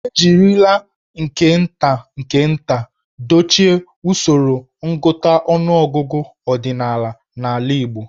E jirila nke nta nke nta dochie usoro ngụta ọnụọgụgụ ọdịnala n'ala Igbo.